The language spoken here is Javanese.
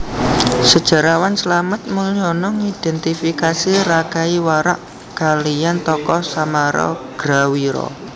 Sejarawan Slamet Muljana ngidentifikasi Rakai Warak kaliyan tokoh Samaragrawira